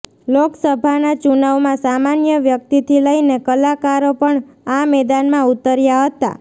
લોકસભાના ચુનાવમાં સામાન્ય વ્યક્તિથી લઈને કલાકારો પણ આ મેદાનમાં ઉતર્યા હતા